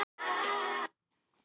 Eða það hélt hún.